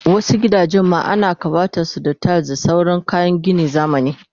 Wasu gidajen ma ana kawatasu da tiles da sauran kayan ginin zamani